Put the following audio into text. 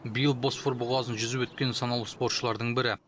биыл босфор бұғазын жүзіп өткен санаулы спортшылардың бірі